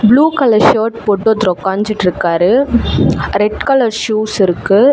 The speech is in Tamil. ப்ளூ கலர் ஷர்ட் போட்டு ஒருத்தரு ஒக்காஞ்சிட்ருக்காரு ரெட் கலர் ஷூஸ் இருக்கு.